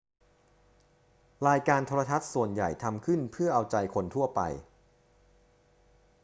รายการโทรทัศน์ส่วนใหญ่ทำขึ้นเพื่อเอาใจคนทั่วไป